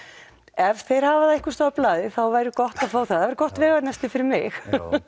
ef þeir hafa það einhvers staðar á blaði þá væri gott að fá það það væri gott veganesti fyrir mig